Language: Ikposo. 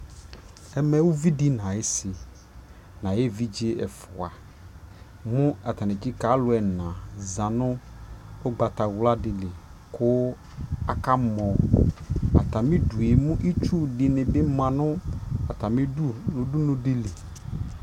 ɛmɛ ʋvidi nʋ ayisi nʋ ayɛ ɛvidzɛ ɛƒʋa kʋ atani ɛtsika alʋɛ ɛna zanʋ ɔgbatawla dili kʋ aka mɔ, atami idʋɛ mɛ itsʋ dibi manʋ atami idʋ nʋ ʋdʋnʋ dili